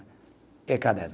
E caderno